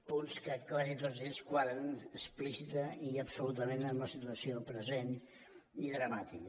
punts que quasi tots ells quadren explícitament i absolutament amb la situació present i dramàtica